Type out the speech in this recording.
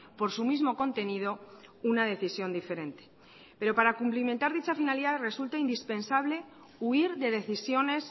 por su mismo contenido una decisión diferente pero para cumplimentar dicha finalidad resulta indispensable huir de decisiones